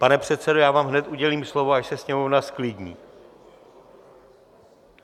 Pane předsedo, já vám hned udělím slovo, až se sněmovna zklidní.